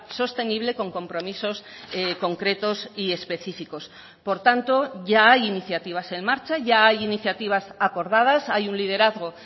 sostenible con compromisos concretos y específicos por tanto ya hay iniciativas en marcha ya hay iniciativas acordadas hay un liderazgo